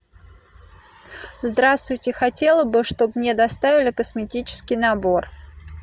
здравствуйте хотела бы чтобы мне доставили косметический набор